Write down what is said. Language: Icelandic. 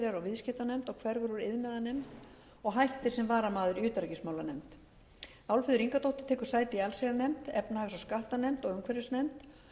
allsherjarnefnd og viðskiptanefnd og hverfur úr iðnaðarnefnd og hættir sem varamaður í utanríkismálanefnd álfheiður ingadóttir tekur sæti í allsherjarnefnd efnahags og skattanefnd og umhverfisnefnd